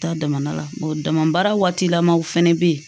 Taa damana damabaara waati lamaw fɛnɛ bɛ yen